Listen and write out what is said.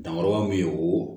Dankɔrɔ min bɛ o